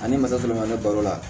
Ani masa kelen ma ne balo la